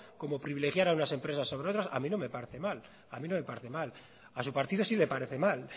como privilegiar a unas empresas sobre otras a mí no me parece mal a su partido sí le parece mal